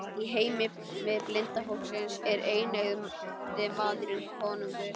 Í heimi blinda fólksins er eineygði maðurinn konungur.